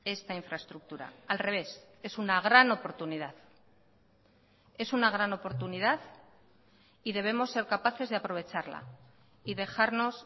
esta infraestructura al revés es una gran oportunidad es una gran oportunidad y debemos ser capaces de aprovecharla y dejarnos